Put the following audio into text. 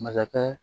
Masakɛ